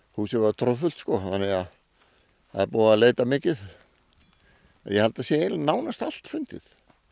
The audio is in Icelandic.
húsið var troðfullt þannig að það er búið að leita mikið og ég held að það sé nánast allt fundið